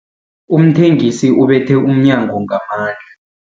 Umthengisi ubethe umnyango ngamandla.